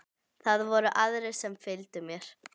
Það voru aðrir sem fylgdu mér.